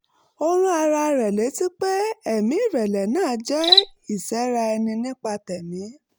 ó rán ara rẹ̀ létí pé ẹ̀mí ìrẹ̀lẹ̀ náà jẹ́ ìsẹ́ra ẹni nípa tẹ̀mí